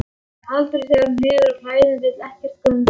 Aldrei þegar hún hefur á klæðum, vill ekkert gums.